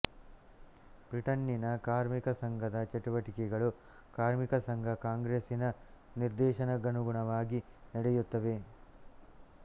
ಬ್ರಿಟನ್ನಿನ ಕಾರ್ಮಿಕ ಸಂಘದ ಚಟುವಟಿಕೆಗಳು ಕಾರ್ಮಿಕ ಸಂಘ ಕಾಂಗ್ರೆಸ್ಸಿನ ನಿರ್ದೇಶಕ್ಕನುಗುಣವಾಗಿ ನಡೆಯುತ್ತವೆ